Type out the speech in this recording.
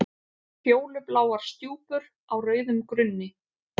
Fjólubláar stjúpur á rauðum grunni.